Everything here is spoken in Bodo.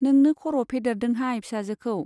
नोंनो खर' फेदेरदोंहाय फिसाजोखौ।